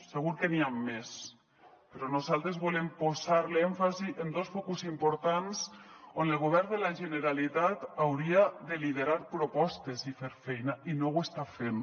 segur que n’hi han més però nosaltres volem posar l’èmfasi en dos focus importants on el govern de la generalitat hauria de liderar propostes i fer feina i no ho està fent